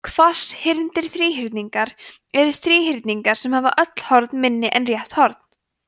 hvasshyrndir þríhyrningar eru þríhyrningar sem hafa öll horn minni en rétt horn